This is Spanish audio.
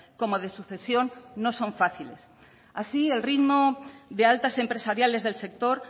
como de sucesión no son fáciles así el ritmo de altas empresariales del sector